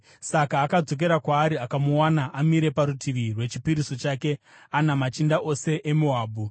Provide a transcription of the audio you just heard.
Saka akadzokera kwaari akamuwana amire parutivi rwechipiriso chake, ana machinda ose eMoabhu.